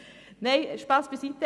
() Nein, Spass beiseite.